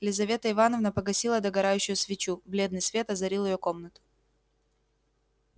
лизавета ивановна погасила догорающую свечу бледный свет озарил её комнату